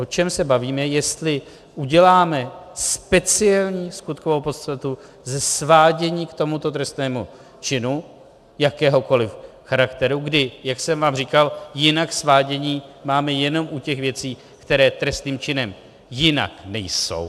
O čem se bavíme, jestli uděláme speciální skutkovou podstatu ze svádění k tomuto trestnému činu jakéhokoliv charakteru, kdy, jak jsem vám říkal, jinak svádění máme jenom u těch věcí, které trestným činem jinak nejsou.